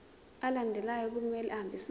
alandelayo kumele ahambisane